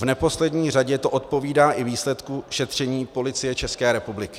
V neposlední řadě to odpovídá i výsledku šetření Policie České republiky.